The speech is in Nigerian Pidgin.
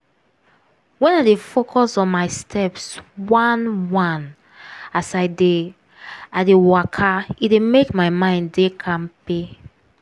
when i dey focus on my steps one-one as i dey i dey waka e dey make my mind dey kampe.